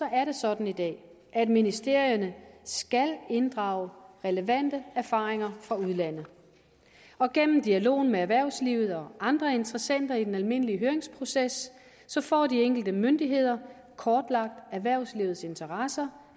er sådan i dag at ministerierne skal inddrage relevante erfaringer fra udlandet og gennem dialog med erhvervslivet og andre interessenter i den almindelige høringsproces får de enkelte myndigheder kortlagt erhvervslivets interesser